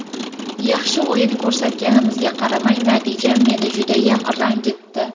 Yaxshi o‘yin ko‘rsatganimizga qaramay, natija meni judayam ranjitdi.